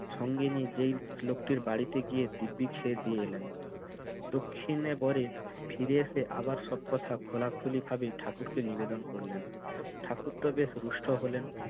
সঙ্গে নিয়ে যেই লোকটির বাড়িতে গিয়ে দিব্যি খেয়েদেয়ে এলেন। দক্ষিণে বরে ফিরে এসে আবার সব কথা খোলাখুলিভাবে ঠাকুরকে নিবেদন করলেন। ঠাকুরতো বেশ রুষ্ট হলেন।